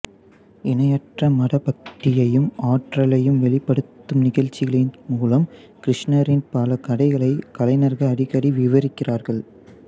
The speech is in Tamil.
இணையற்ற மத பக்தியையும் ஆற்றலையும் வெளிப்படுத்தும் நிகழ்ச்சிகளின் மூலம் கிருஷ்ணரின் பல கதைகளை கலைஞர்கள் அடிக்கடி விவரிக்கிறார்கள்